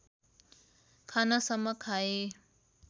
खानसम्म खाए